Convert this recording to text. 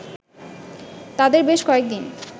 তাদের বেশ কয়েকদিন